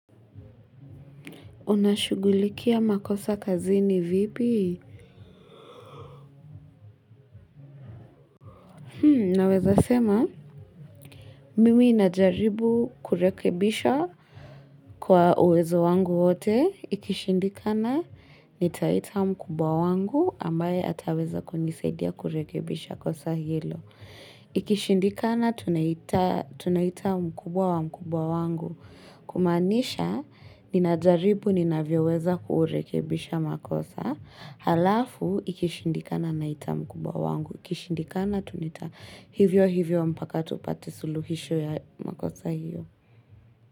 Unashugulikia makosa kazini vipi? Naweza sema, mimi najaribu kurekebisha kwa uwezo wangu wote. Ikishindikana, nitaita mkubwa wangu ambaye ataweza kunisaidia kurekebisha kosa hilo. Ikishindikana, tunaita mkubwa wa mkubwa wangu. Kumaanisha, ninajaribu, ninavyoweza kurekebisha makosa. Halafu ikishindikana na itamukubwa wangu ikishindikana tunaita hivyo hivyo mpaka tupate suluhisho ya makosa hiyo.